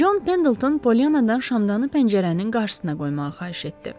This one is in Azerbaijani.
Con Pendleton Polyannadan şamdanı pəncərənin qarşısına qoymağı xahiş etdi.